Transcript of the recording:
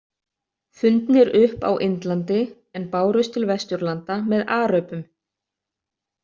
Fundnir upp á Indlandi, en bárust til vesturlanda með aröbum.